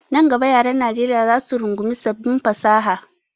Nan gaba yaran Najeriya zac su rungumi sabbin fasaha.